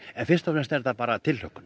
en fyrst og fremst tilhlökkun